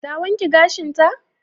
Ta wanke gashinta?